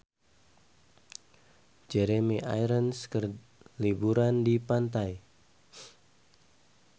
Jeremy Irons keur liburan di pantai